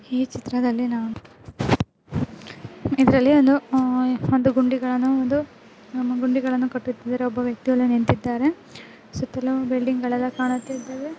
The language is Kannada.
ಈ ಚಿತ್ರಯಲ್ಲಿ ನಾವು ಇದರಲ್ಲಿ ಒಂದು ಉಹ್ ಒಂದು ಗುಂಡಿಗಳನ್ನು ಒಂದು ಗುಂಡಿಗಳನ್ನು ಕಟ್ಟುತಿದ್ದಾರೆ ಒಬ್ಬ ವ್ಯಕ್ತಿ ಅಲ್ಲಿ ನಿಂತಿದ್ದಾರೆ ಸುತ್ತಲೂ ಬಿಲ್ಡಿಂಗ್ ಗಳು ಎಲ್ಲಾ ಕಾಣುತ್ತಾ ಇದ್ದವೆ--